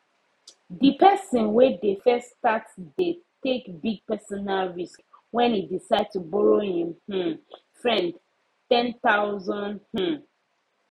d person wey de first start de take big personal risk when e decide to borrow him um friend 10000 um